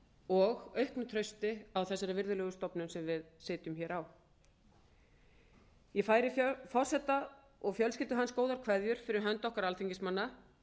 og auknu trausti á þessari virðulegu stofnun sem við sitjum hér á ég færi forseta og fjölskyldu hans góðar kveðjur fyrir hönd okkar alþingismanna